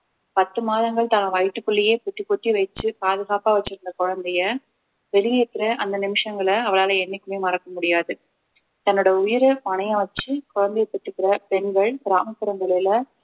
பத்து மாதங்கள் தான் வயிற்றுக்குள்ளேயே பொத்தி பொத்தி வச்சு பாதுகாப்பா வச்சிருந்த குழந்தைய வெளியேத்துற அந்த நிமிஷங்களை அவளால என்னைக்குமே மறக்க முடியாது தன்னோட உயிர பணயம் வச்சு குழந்தையை பெத்துக்கிற பெண்கள் கிராமப்புறங்களில